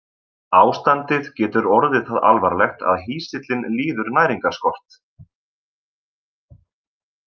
Ástandið getur orðið það alvarlegt að hýsillinn líður næringarskort.